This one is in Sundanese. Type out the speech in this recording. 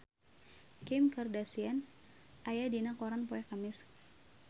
Kim Kardashian aya dina koran poe Kemis